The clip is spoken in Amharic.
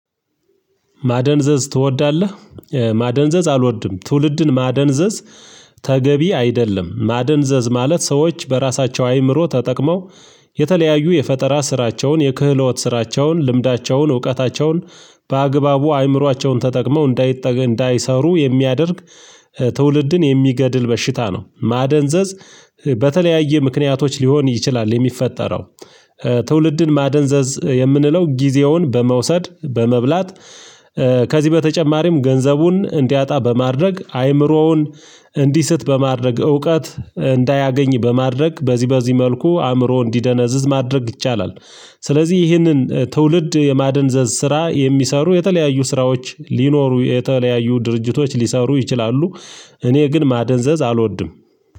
ማደንዘዝ ትወዳለህ? ማደንዘዝ አልወድም። ትውልድን ማደንዘዝ ተገቢ አይደለም። ማደንዘዝ ማለት ሰዎች በራሳቸው አይምሮ ተጠቅመው የተለያዩ የፈጠራ ስራቸውን፣ የክህሎት ስራቸውን፣ ልምዳቸውን፣ እውቀታቸውን በአግባቡ አይምሯቸውን ተጠቅመው እንዳይሰሩ የሚያደርግ ትውልድን የሚገድል በሽታ ነው። ማደንዘዝ በተለያየ ምክንያቶች ሊሆን ይችላል የሚፈጠረው፤ ትውልድን ማደንዘዝ የምንለው ጊዜውን በመውሰድ፣ በመብላት ከዚህ በተጨማሪም ገንዘቡን እንዲያጣ በማድረግ፣ አይምሮውን እንዲስት በማድረግ፣ እውቀት እንዳያገኝ በማድረግ በዚህ በዚህ መልኩ አእምሮ እንዲደነዝዝ ማድረግ ይቻላል። ስለዚህ ይህንን ትውልድ የማደንዘዝ ስራ የሚሰሩ የተለያዩ ስራዎች ሊኖሩ፤ የተለያዩ ድርጅቶች ሊሰሩ ይችላሉ። እኔ ግን ማደንዘዝ አልወድም።